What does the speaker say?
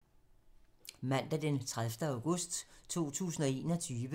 Mandag d. 30. august 2021